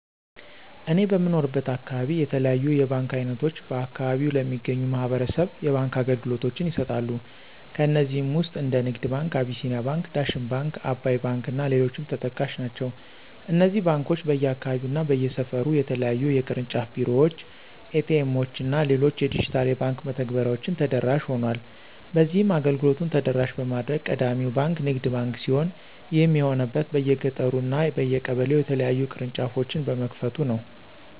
እኔ በምኖርበት አካባቢ የተለያዩ የባንክ አይነቶች በአከባቢው ለሚገኙ ማህበረሰብ የባንክ አገልግሎቶችን ይሰጣሉ። ከነዚህም ውስጥ እንደ ንግድ ባንክ፣ አቢሲኒያ ባንክ፣ ዳሽን ባንክ፣ አባይ ባንክ እና ሌሎችም ተጠቃሽ ናቸው። እነዚህ ባንኮች በየአካባቢው እና በየሰፈሩ የተለያዩ የቅርንጫፍ ቢሮዎች፣ ኤ.ቲ. ኤምዎች እና ሌሎች የዲጂታል የባንክ መተግበሬዎችን ተደራሽ ሆኗል። በዚህም አገልግሎቱን ተደራሽ በማድረግ ቀዳሚው ባንክ ንግድ ባንክ ሲሆን ይህም የሆነበት በየገጠሩ እና በየቀበሌው የተለያዩ ቅርንጫፎችን በመክፈቱ ነው።